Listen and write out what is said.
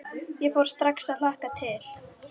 Ég fór strax að hlakka til.